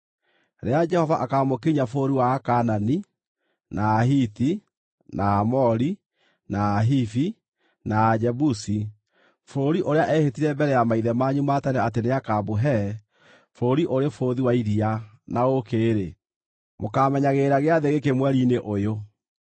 Rĩrĩa Jehova akaamũkinyia bũrũri wa Akaanani, na Ahiti, na Aamori, na Ahivi, na Ajebusi bũrũri ũrĩa eehĩtire mbere ya maithe manyu ma tene atĩ nĩakamũhe bũrũri ũrĩ bũthi wa iria na ũũkĩ-rĩ, mũkaamenyagĩrĩra gĩathĩ gĩkĩ mweri-inĩ ũyũ: